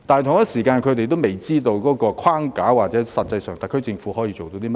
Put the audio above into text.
同時，他們仍未知道有關框架及特區政府實際上可以做到甚麼。